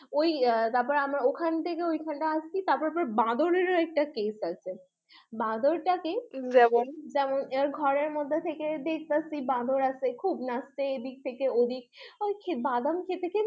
ওই তারপরে আমরা ঐখান থেকে ওখানে আসছি তারপর বান্দরেরও একটা case আছে, ওইখানে আসছি আর তারপর ঘরের মধ্যে থেকে দেখতাছি যে বান্দর আছে খুব নাচছে এইদিক থেকে ঐদিক আর কি বাদাম খেতে খেতে